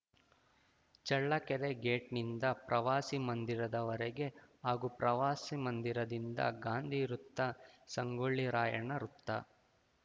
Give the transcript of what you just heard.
Challakere gate ನಿಂದ ಪ್ರವಾಸಿ ಮಂದಿರದವರಗೆ ಹಾಗೂ ಪ್ರವಾಸಿಮಂದಿರದಿಂದ ಗಾಂಧಿ ವೃತ್ತ ಸಂಗೊಳ್ಳಿ ರಾಯಣ್ಣ ವೃತ್ತ